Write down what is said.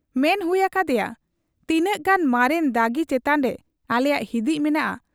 ᱢᱮᱱ ᱦᱩᱭ ᱟᱠᱟ ᱦᱟᱫᱮᱭᱟ ᱼᱼ 'ᱛᱤᱱᱟᱹᱜ ᱜᱟᱱ ᱢᱟᱨᱮᱱ ᱫᱟᱹᱜᱤ ᱪᱮᱛᱟᱱᱨᱮ ᱟᱞᱮᱭᱟᱜ ᱦᱤᱫᱤᱡ ᱢᱮᱱᱟᱜ ᱟ ᱾